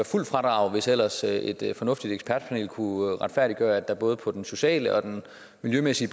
fuldt fradrag hvis ellers et fornuftigt ekspertpanel kunne retfærdiggøre at der både på den sociale og den miljømæssige